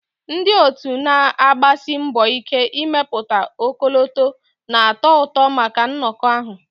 Ndị otu na-agbasi mbọ ike ịmepụta ọkọlọtọ na-atọ ụtọ maka nnọkọ ahụ